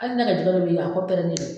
Hali ne ka jɛgɛ dɔ bɛ yen, a kɔ pɛrɛlen dɔn.